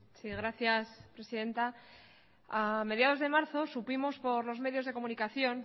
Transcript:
sí gracias presidenta a mediados de marzo supimos por los medios de comunicación